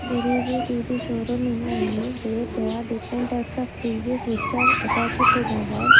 there is a T_V showroom in the image where there are different types of T_Vs which are attached to the wall.